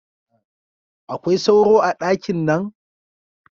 Akwai sauro a dakin nan?